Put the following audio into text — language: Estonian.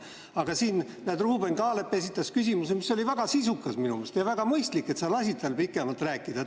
Aga Ruuben Kaalep esitas küsimuse, mis oli minu meelest väga sisukas, ja väga mõistlik, et sa lasid tal pikemalt rääkida.